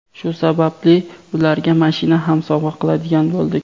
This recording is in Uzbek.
Shu sababli ularga mashina ham sovg‘a qiladigan bo‘ldik.